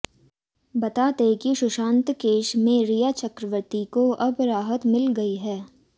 बता दें कि सुशांत केस में रिया चक्रवर्ती को अब राहत मिल गई है